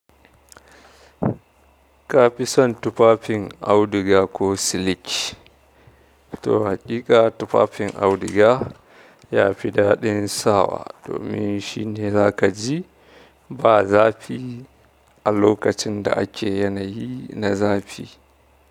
Ka fi son tufafin auduga ko siliki? To haƙiƙa tufafin auduga yafi daɗin sawa, domin shine zaka ji ba zafi a lokacin da ake yanayi na zafi.